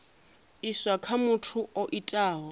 iswa kha muthu o itaho